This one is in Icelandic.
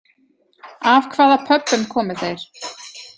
Af hvaða Pöbbum komu þeir?